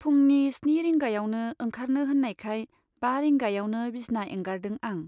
फुंनि स्नि रिंगायावनो ओंखारनो होन्नायखाय बा रिंगायावनो बिसना एंगारदों आं।